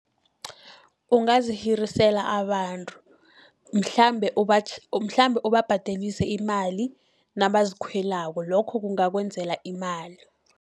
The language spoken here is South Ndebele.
Ungazihirisela abantu, mhlambe mhlambe ubabhadelise imali nabazikhwelako, lokho kungakwenzela imali.